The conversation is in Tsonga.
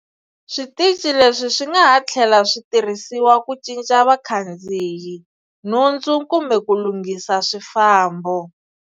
Switichi leswi swingaha thlela switirhisiwa ku cinca vakhandziyi, nhundzu kumbe ku lunghisa swifambo.